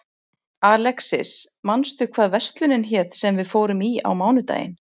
Alexis, manstu hvað verslunin hét sem við fórum í á mánudaginn?